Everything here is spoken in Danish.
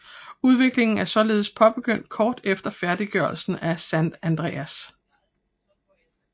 Udviklingen er således påbegyndt kort efter færdiggørelsen af San Andreas